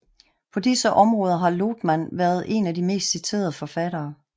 På disse områder har Lotman været en af de mest citerede forfattere